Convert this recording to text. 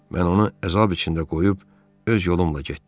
Mən onu əzab içində qoyub öz yolumla getdim.